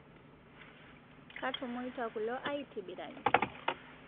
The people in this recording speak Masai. Kaitomoita kulo aitibiraki